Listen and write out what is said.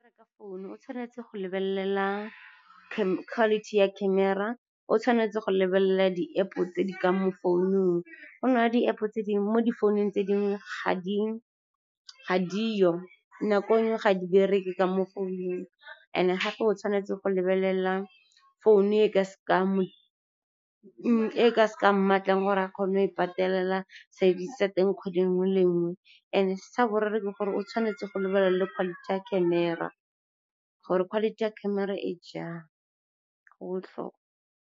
Ka founu o tshwanetse go lebelela quality ya camera. O tshwanetse go lebelela di-App-o tse di ka mo founung, go na le di-App-o tse dingwe mo di founung tse dingwe ga di yo. Nako e nngwe ga di bereke ka mo founung. And-e gape o tshwanetse go lebelela founu e ka seka ya mmatlang gore a kgone go e e patelela service ya teng kgwedi nngwe le nngwe. And-e sa boraro ke gore o tshwanetse go lebelela le quality ya camera gore quality ya camera e jang. Go botlhokwa.